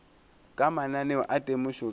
ka mananeo a temošo ka